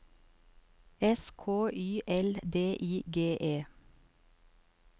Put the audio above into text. S K Y L D I G E